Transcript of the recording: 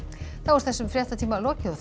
þessum fréttatíma er lokið og